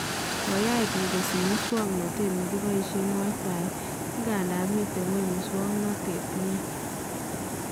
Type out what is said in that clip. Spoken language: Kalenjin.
Koyach bik kosich musoknotet nekiboishen WIFI, ingandan miten kweny musoknotet nia